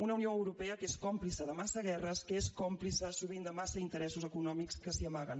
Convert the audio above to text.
una unió europea que és còmplice de massa guerres que és còmplice sovint de massa interessos econòmics que s’hi amaguen